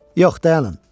Yox, dayanın.